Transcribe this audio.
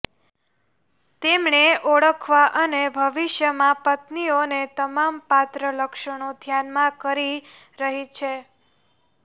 તેમણે ઓળખવા અને ભવિષ્યમાં પત્નીઓને તમામ પાત્ર લક્ષણો ધ્યાનમાં કરી રહી છે